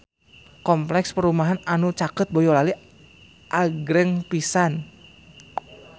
Kompleks perumahan anu caket Boyolali agreng pisan